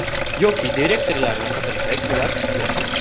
Yoki direktorlarni qidirsak, ular yo‘q.